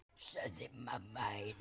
Fallið frá tveggja ríkja lausn?